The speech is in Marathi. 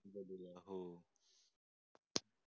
हो.